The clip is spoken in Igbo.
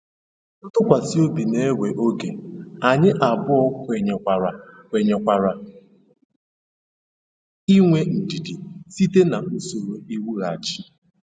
Ntụkwasị obi na-ewe oge, anyị abụọ kwenyekwara kwenyekwara inwe ndidi site na usoro iwughachi.